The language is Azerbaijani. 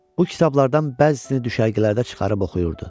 Bu kitablardan bəzisini düşərgələrdə çıxarıb oxuyurdu.